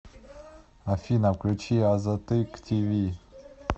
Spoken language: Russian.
афина включи азаттык ти ви